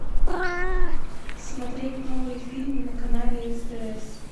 смотреть новые фильмы на канале стс